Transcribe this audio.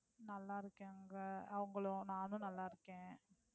நல்லா இருக்கேன். அவங்களும் நானும் நல்லா இருக்கேன்